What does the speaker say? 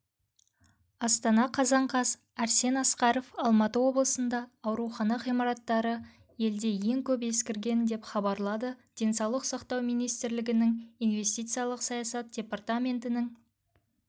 астана қазан қаз арсен асқаров алматы облысында аурухана ғимараттары елде ең көп ескірген деп хабарлады денсаулық сақтау министрлігінің инвестициялық саясат департаментінің